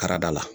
Karada la